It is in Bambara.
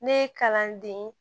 Ne ye kalanden